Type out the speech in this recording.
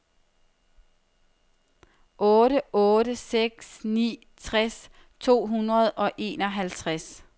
otte otte seks ni tres to hundrede og enoghalvtreds